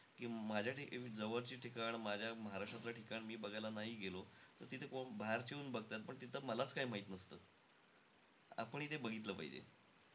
की माझ्या अं जवळची ठिकाण, माझ्या महाराष्ट्रातलं ठिकाण मी बघायला नाही गेलो तर तिथे बाहेरचे येऊन बघतात. पण तिथे मलाचं काही माहित नसतं. आपणही ते बघितलं पाहिजे.